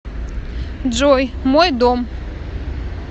джой мой дом